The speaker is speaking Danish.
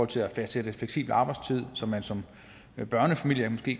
til at fastsætte fleksibel arbejdstid så man som børnefamilie måske